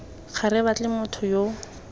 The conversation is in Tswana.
gore re batle motho yo